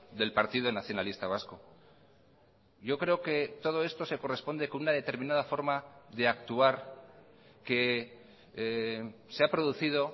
del partido nacionalista vasco yo creo que todo esto se corresponde con una determinada forma de actuar que se ha producido